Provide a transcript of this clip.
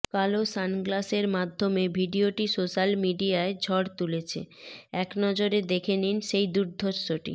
কালো সানগ্লাসের মাধ্যমে ভিডিওটি সোশ্যাল মিডিয়ায় ঝড় তুলেছে একনজরে দেখে নিন সেই দুর্ধর্ষটি